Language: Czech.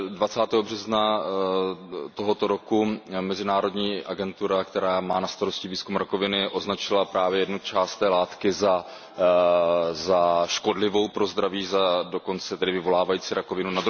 20. března tohoto roku mezinárodní agentura, která má na starost výzkum rakoviny, označila právě jednu část té látky za škodlivou pro zdraví, dokonce vyvolávající rakovinu.